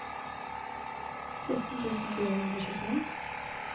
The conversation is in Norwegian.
sytten tusen fire hundre og tjuefem